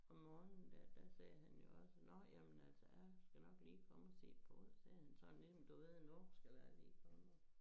Om morgenen dér der sagde han jo også nå jamen altså jeg skal nok lige komme og se på det sagde han sådan ligesom du ved nu skal jeg lige komme og